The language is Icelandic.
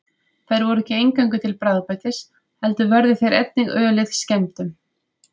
Þeir voru ekki eingöngu til bragðbætis heldur vörðu þeir einnig ölið skemmdum.